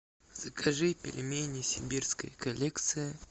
закажи пельмени сибирская коллекция